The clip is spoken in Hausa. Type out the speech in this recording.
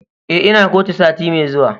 Eh, Ina kotu sati Mai zuwa.